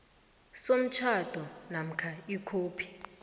somtjhado namkha ikhophi